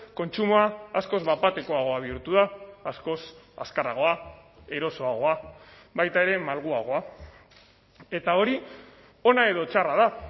kontsumoa askoz bat batekoagoa bihurtua askoz azkarragoa erosoagoa baita ere malguagoa eta hori ona edo txarra da